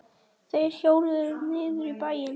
Þeir hjóluðu niður í bæinn.